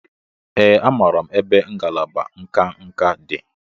Ee, amaara m ebe ngalaba nka nka dị.